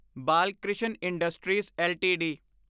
Balkrishna Industries LTD